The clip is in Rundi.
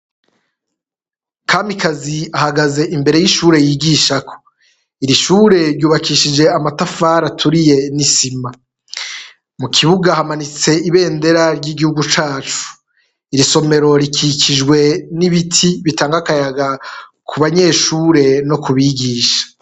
Kamikaze ahagaze imbere y'ishure yigishako iri shure ry'ubakishije amatafari aturiye n'isima, mu kibuga hamanitse ibendera ry'igihugu cacu, iri isomero rikikijwe n'ibiti bitanga akayaga ku banyeshure no ku bigisha.